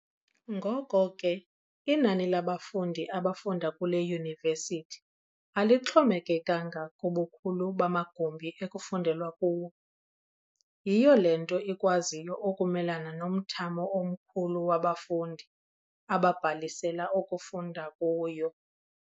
Ngoko ke inani labafundi abafunda kule Yunivesithi alixhomekekanga kubukhulu bamagumbi ekufundelwa kuwo. Yiyo le nto ikwaziyo ukumelana nomthamo omkhulu wabafundi ababhalisela ukufunda kuyo.